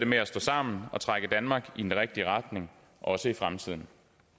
med at stå sammen og trække danmark i den rigtige retning også i fremtiden